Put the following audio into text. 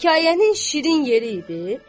Hekayənin şirin yeri idi,